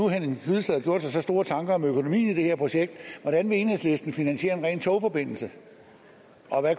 henning hyllested har gjort sig så store tanker om økonomien i det her projekt hvordan enhedslisten vil finansiere en ren togforbindelse og